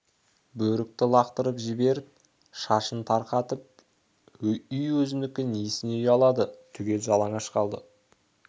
бөрікті лақтырып жіберіп шашын тарқатып үй өзінікі несіне ұялады түгел жалаңаш қалды